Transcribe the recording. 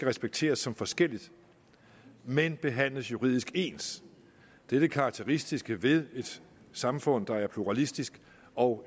respekteres som forskelligt men behandles juridisk ens det er det karakteristiske ved et samfund der er pluralistisk og